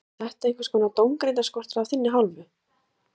Björn Þorláksson: Var þetta einhvers konar dómgreindarskortur af þinni hálfu?